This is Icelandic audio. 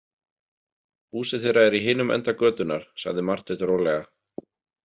Húsið þeirra er í hinum enda götunnar, sagði Marteinn rólega.